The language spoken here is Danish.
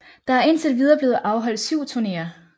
Der er indtil videre blevet afholdt 7 turnéer